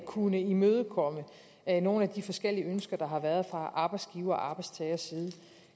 kunne imødekomme nogle af de forskellige ønsker der har været fra arbejdsgivers og arbejdstagers side